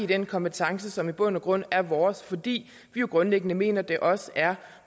den kompetence som i bund og grund er vores fordi vi grundlæggende mener at det også er